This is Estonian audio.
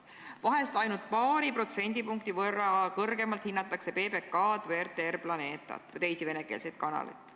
Vahest ainult paari protsendi võrra kõrgemalt hinnatakse PBK-d, RTR Planetat või teisi venekeelseid kanaleid.